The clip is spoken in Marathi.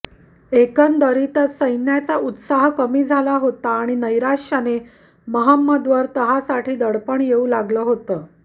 एकंदरीतच सैन्याचा उत्साह कमी झाला होता आणि नैराश्याने महंमदवर तहासाठी दडपण येऊ लागलं होतं